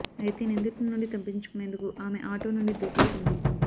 అయితే నిందితుడి నుండి తప్పించుకొనేందుకు ఆమె ఆటో నుండి దూకేసింది